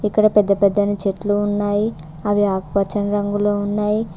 ఇక్కడ పెద్ద పెద్ద నీ చెట్లు ఉన్నాయి అవి ఆకుపచ్చని రంగులో ఉన్నాయి.